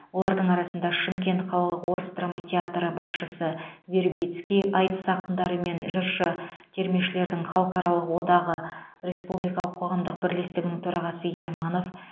олардың арасында шымкент қалалық орыс драма театры басшысы вербицкий айтыс ақындары мен жыршы термешілердің халықаралық одағы республикалық қоғамдық бірлестігінің төрағасы ерманов